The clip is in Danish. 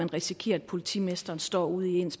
risikere at politimesteren står ude i